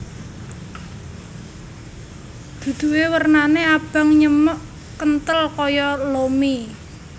Duduhe wernane abang nyemek kenthel kaya lo mie